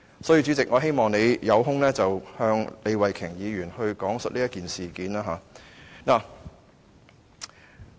因此，主席，我希望你有空時向李慧琼議員講述這件事。